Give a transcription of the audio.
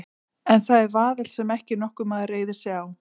En það er vaðall sem ekki nokkur maður reiðir sig á.